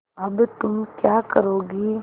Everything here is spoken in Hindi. अब तुम क्या करोगी